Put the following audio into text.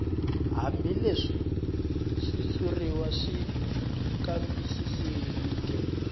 hambileswi xitshuriwa xi kambisisiweke